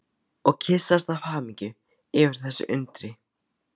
Og kyssast af hamingju yfir þessu undri.